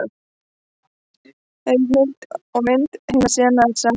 Heimild og mynd: Heimasíða NASA.